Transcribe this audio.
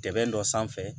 Tɛ dɔ sanfɛ